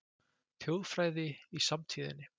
Þjóðfræði í samtíðinni